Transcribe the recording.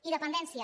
i dependència